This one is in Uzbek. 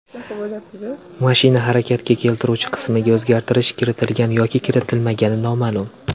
Mashina harakatga keltiruvchi qismiga o‘zgartirish kiritilgan yoki kiritilmagani noma’lum.